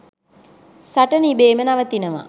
සටන ඉබේම නවතිනවා.